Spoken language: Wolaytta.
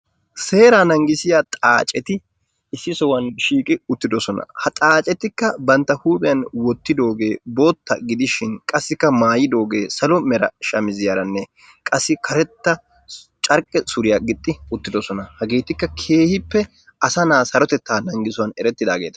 seeraa nangissiyaa xaaceti issi sohuwaan shiiqi uttidosona. ha xaacetikka bantta huuphiyaan wottidoogee bootta gidishin qassikka maayidogee salo mera shamiziyaaranne qassikka karetta carqqe suriya gixxi uttidoosona. hageetikka keehippe asa na'aa sarotettaa nangissuwaan erettidaageta.